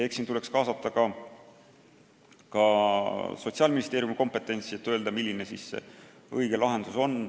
Eks siin tuleks kaasata ka Sotsiaalministeeriumi kompetents, et öelda, milline see õige lahendus on.